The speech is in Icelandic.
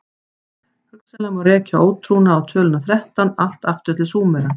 Hugsanlega má rekja ótrúna á töluna þrettán allt aftur til Súmera.